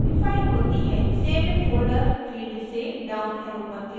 save in folder field से down arrow पर click करें और desktop ऑप्शन पर click करें